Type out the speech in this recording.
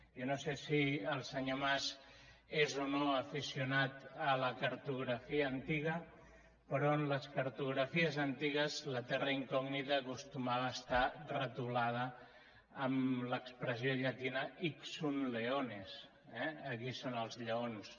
jo no sé si el senyor mas és o no aficionat a la cartografia antiga però en les cartografies antigues la terra incògnita acostumava a estar retolada amb l’expressió llatina hic sunt leoneslleons